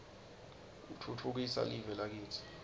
utfutfukisa live lakitsi